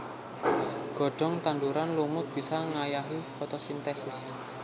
Godhong tanduran lumut bisa ngayahi fotosintesis